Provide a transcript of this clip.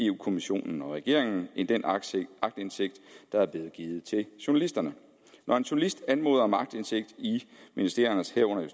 kommissionen og regeringen end den aktindsigt der er blevet givet til journalister når en journalist anmoder om aktindsigt i ministeriernes herunder